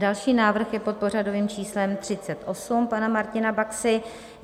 Další návrh je pod pořadovým číslem 38 pana Martina Baxy.